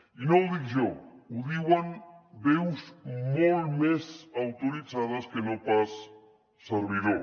i no ho dic jo ho diuen veus molt més autoritzades que no pas un servidor